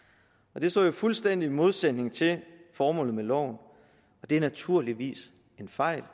og det står jo i fuldstændig modsætning til formålet med loven og det er naturligvis en fejl